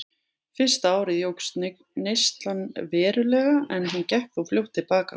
Fyrsta árið jókst neyslan verulega en hún gekk þó fljótt til baka.